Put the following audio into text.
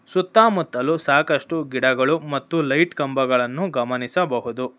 ಸುತ್ತ ಮುತ್ತಲು ಸಾಕಷ್ಟು ಗಿಡಗಳು ಮತ್ತು ಲೈಟ್ ಕಂಬಗಳನ್ನು ಗಮನಿಸಬಹುದು.